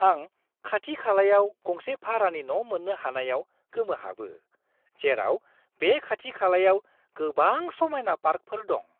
आं खाथि-खालायाव गंसे भारानि न' मोन्नो हानायाव गोमोहाबो, जेराव बे खाथि-खालायाव गोबां समायना पार्कफोर दं!